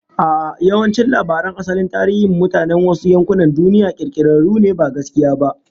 A'a, yawancin labaran asalin tarihin mutanen wasu yankunan duniya, kirkirarru ne ba gaskiya ba